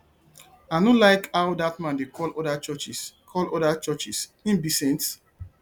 i no like how dat man dey call other churches call other churches him be saint